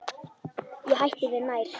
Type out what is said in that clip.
Ég hætti mér nær.